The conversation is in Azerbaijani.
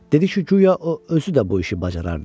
Dedi ki, guya o özü də bu işi bacarardı.